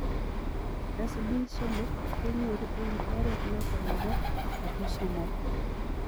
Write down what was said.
SD somok kenyoruu eng oreet notok neboo atosomol.